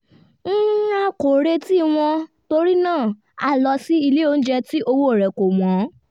a kò retí wọn torí náà a lọ sí ilé onjẹ tí owó rẹ̀ kò wọ́n